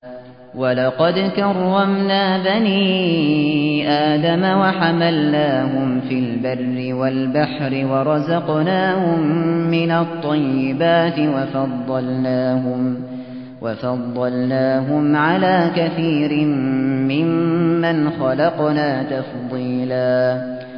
۞ وَلَقَدْ كَرَّمْنَا بَنِي آدَمَ وَحَمَلْنَاهُمْ فِي الْبَرِّ وَالْبَحْرِ وَرَزَقْنَاهُم مِّنَ الطَّيِّبَاتِ وَفَضَّلْنَاهُمْ عَلَىٰ كَثِيرٍ مِّمَّنْ خَلَقْنَا تَفْضِيلًا